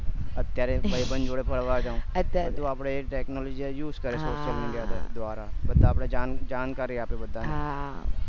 અત્યારે ભાઈબંધ જોડે ફરવા જવું બધું આપડે technology આવી ગયું અત્યારે social media ધ્વારા પછી જાણકારી આપે બધાની